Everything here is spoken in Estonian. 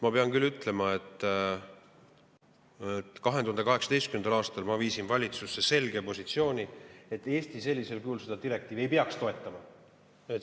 Ma pean ütlema, et 2018. aastal ma viisin valitsusse selge positsiooni, et Eesti sellisel kujul seda direktiivi ei peaks toetama.